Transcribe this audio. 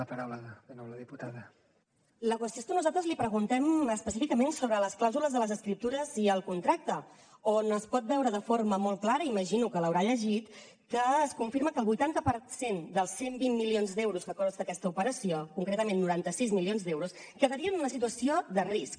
la qüestió és que nosaltres li preguntem específicament sobre les clàusules de les escriptures i el contracte on es pot veure de forma molt clara imagino que l’haurà llegit que es confirma que el vuitanta per cent dels cent i vint milions d’euros que costa aquesta operació concretament noranta sis milions d’euros quedarien en una situació de risc